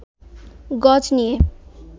গজ নিয়ে